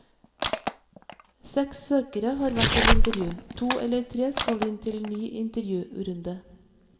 Seks søkere har vært til intervju, to eller tre skal inn til ny intervjurunde.